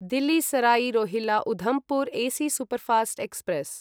Delhi Sarai Rohilla Udhampur AC superfast express